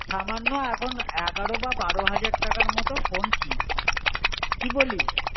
সমানও এখন এগারো বা বারো হাজার টাকার মতো ফোন কিন. কী বলিস?